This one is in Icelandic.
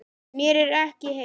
Mér er ekki heitt.